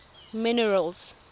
minerals